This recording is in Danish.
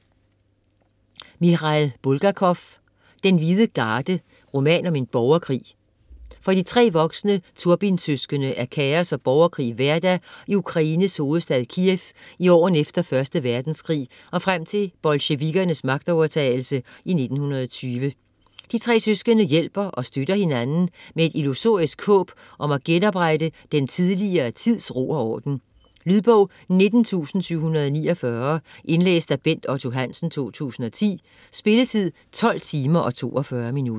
Bulgakov, Michail: Den hvide garde: roman om en borgerkrig For de tre voksne Turbin-søskende er kaos og borgerkrig hverdag i Ukraines hovedstad Kiev i årene efter 1. verdenskrig og frem til bolsjevikkernes magtovertagelse i 1920. De tre søskende hjælper og støtter hinanden med et illusorisk håb om at genoprette den tidligere tids ro og orden. Lydbog 19749 Indlæst af Bent Otto Hansen, 2010. Spilletid: 12 timer, 42 minutter.